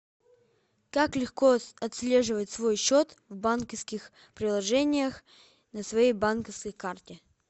как легко отслеживать свой счет в банковских приложениях на своей банковской карте